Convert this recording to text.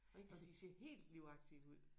Og de ser helt livagtigt ud